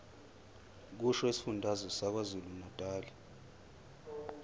kusho isifundazwe sakwazulunatali